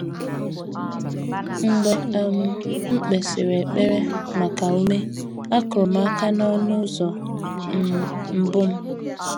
Mgbe um m kpesịrị ekpere maka ume, akụrụ m aka n’ọnụ ụzọ um mbụ m.